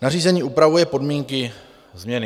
nařízení upravuje podmínky změny.